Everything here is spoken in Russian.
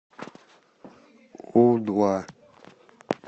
у два